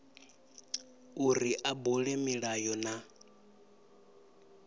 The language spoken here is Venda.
uri a bule milayo na